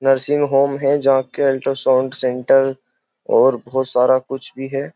Nursing home है जहां के अल्ट्रा साउंड सेंटर और बहुत सारा कुछ भी है।